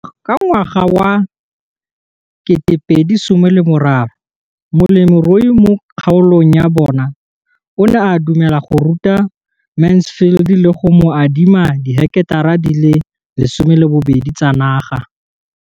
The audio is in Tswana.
Ka ngwaga wa 2013, molemirui mo kgaolong ya bona o ne a dumela go ruta Mansfield le go mo adima di heketara di le 12 tsa naga.